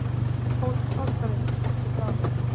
HÓTELHALDARI: Ekki fráleitt!